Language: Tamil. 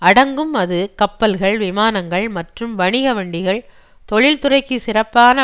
அடங்கும் அது கப்பல்கள் விமானங்கள் மற்றும் வணிக வண்டிகள் தொழில்துறைக்கு சிறப்பான